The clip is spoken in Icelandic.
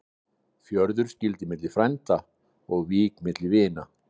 Fjörður skyldi milli frænda og vík milli vina.